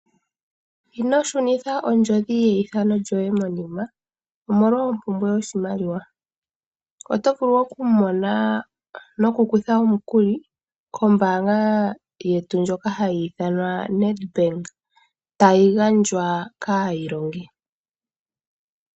Ino shunitha ondjodhi yeithano lyoye monima, omolwa ompumbwe yoshimaliwa, oto vulu oku mona nokukutha omukuli kombaanga yetu ndjoka hayi ithanwa NED Bank, tayi gandjwa kaayilongi.